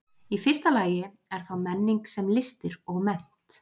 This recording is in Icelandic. Í fyrsta lagi er þá menning sem listir og mennt.